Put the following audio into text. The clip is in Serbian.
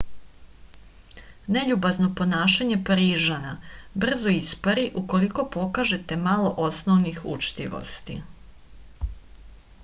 neljubazno ponašanje parižana brzo ispari ukoliko pokažete malo osnovnih učtivosti